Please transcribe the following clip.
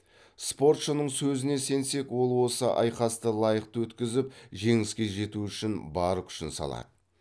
спортшының сөзіне сенсек ол осы айқасты лайықты өткізіп жеңіске жету үшін бар күшін салады